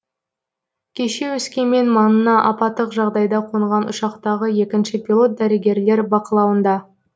кеше өскемен маңына апаттық жағдайда қонған ұшақтағы екінші пилот дәрігерлер бақылауында